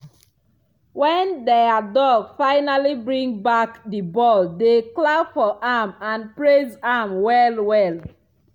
when their dog finally bring back the ball they clap for am and praise am well well.